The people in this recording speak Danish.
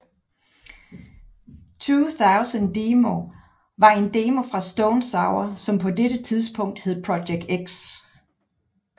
2000 Demo var en demo fra Stone Sour som på dette tidspunkt hed Project X